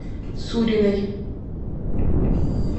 суриной